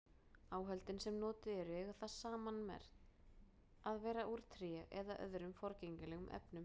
Áhöldin sem notuð eru eiga það sammerkt að vera úr tré eða öðrum forgengilegum efnum.